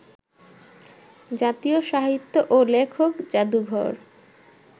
জাতীয় সাহিত্য ও লেখক জাদুঘর